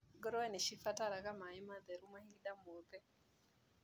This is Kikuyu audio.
Ngũrũwe nĩcibataraga maĩ matheru mahinda mothe.